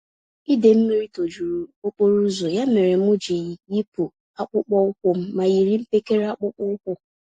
Idee Mlmmiri tojuru okporoụzọ, ya mèrè m jiri yipụ akpụkpọ ụkwụm ma yiri mpekele akpụkpọ ụkwụ